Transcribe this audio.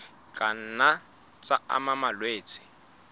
ka nna tsa ama malwetse